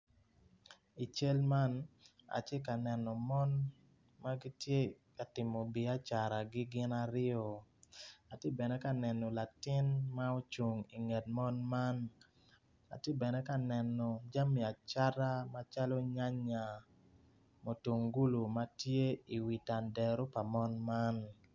I cal man atye ka neno mon ma gitye ka timo biacaragi gin aryo atye bene ka neno latin ma ocung inget mon man atye bene ka neno jami acata macalo nyanya, mutungulu ma tye iwi tandaro pa mon man.